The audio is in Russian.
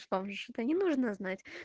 что уже считай не нужно знать